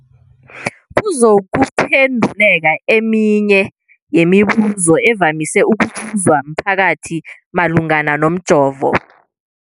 kuzokuphe nduleka eminye yemibu zo evamise ukubuzwa mphakathi malungana nomjovo.